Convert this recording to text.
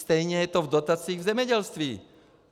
Stejné je to v dotacích v zemědělství.